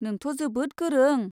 नोंथ' जोबोद गोरों।